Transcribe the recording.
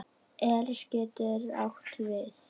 Elis getur átt við